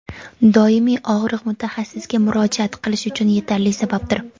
doimiy og‘riq mutaxassisga murojaat qilish uchun yetarli sababdir.